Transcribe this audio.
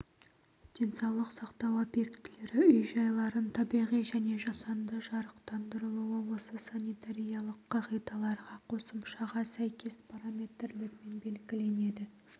денсаулық сақтау объектілері үй-жайларын табиғи және жасанды жарықтандырылуы осы санитариялық қағидаларға қосымшаға сәйкес параметрлермен белгіленеді